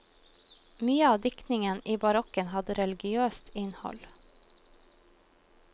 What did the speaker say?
Mye av diktningen i barokken hadde religiøst innhold.